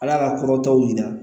Ala ka kɔrɔtaw yira